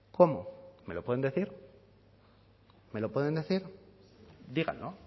cómo me lo pueden decir me lo pueden decir díganlo